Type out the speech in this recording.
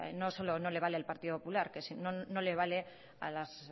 no le vale al partido popular no le vale a las